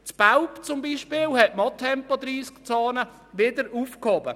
In Belp zum Beispiel hat man Tempo-30-Zonen wieder aufgehoben.